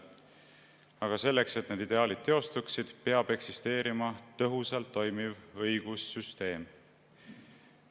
Aga selleks, et need ideaalid teostuksid, peab eksisteerima tõhusalt toimiv õigussüsteem.